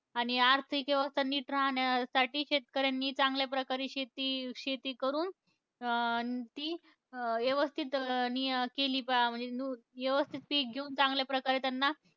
आणि आर्थिक व्यवस्था नीट राहण्यासाठी शेतकऱ्यांनी चांगल्या प्रकारे शेती, शेती करून, अं ती अं यवस्थित नि केली पा म्हणजे न यवस्थित पिक घेऊन चांगल्या प्रकारे त्यांना,